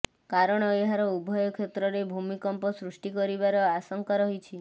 କାରଣ ଏହାର ଉଭୟ କ୍ଷେତ୍ରରେ ଭୂକମ୍ପ ସୃଷ୍ଟି କରିବାର ଆଶଙ୍କା ରହିଛି